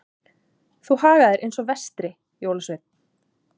Þú hagar þér eins og versti jólasveinn.